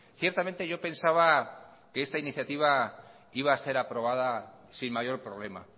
ciertamente yo pensaba que esta iniciativa iba a ser aprobada sin mayor problema